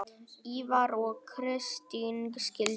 Ívar og Kristín skildu.